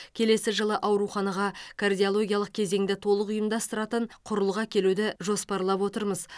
келесі жылы ауруханаға кардиологиялық кезеңді толық ұйымдастыратын құрылғы әкелуді жоспарлап отырмыз